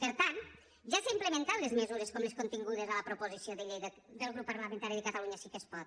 per tant ja s’han implementat les mesures com les contingudes a la proposició de llei del grup parlamentari de catalunya sí que es pot